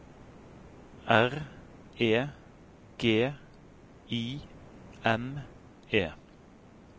R E G I M E